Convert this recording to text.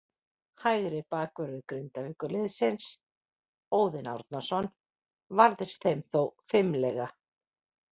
Hægri bakvörður Grindavíkurliðsins, Óðinn Árnason, varðist þeim þó fimlega.